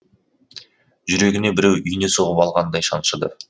жүрегіне біреу ине сұғып алғандай шаншыды